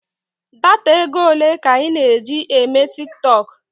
Data ego ole ka ị na-eji eme tiktọk?